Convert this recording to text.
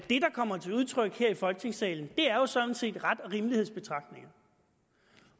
kommer til udtryk her i folketingssalen er jo sådan set ret og rimelighed betragtninger